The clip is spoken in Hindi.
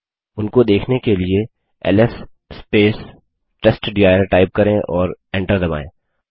उनको देखने के लिए एलएस टेस्टडिर टाइप करें और एंटर दबायें